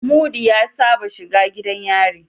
Mudi ya Saba shiga gidan yari